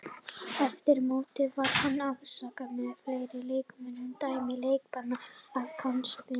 Eftir mótið var hann ásamt fleiri leikmönnum dæmdur í leikbann af knattspyrnusambandinu.